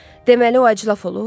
Deməli, o əclaf olub?